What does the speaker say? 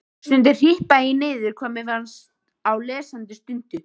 Stundum hripaði ég niður hvað mér fannst á lesandi stundu.